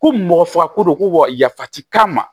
Ko mɔgɔ faga ko don ko wa yafa ti k'a ma